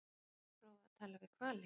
En hefur hún prófað að tala við hvali?